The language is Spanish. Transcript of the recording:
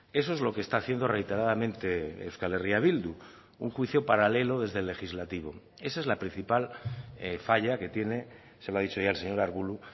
eso es lo que está haciendo reiteradamente euskal herria bildu un juicio paralelo desde el legislativo esa es la principal falla que tiene se lo ha dicho ya el señor arbulo